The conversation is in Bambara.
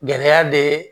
Gɛlɛya be